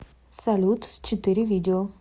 салют с четыре видео